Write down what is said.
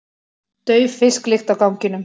Dauf fisklykt á ganginum.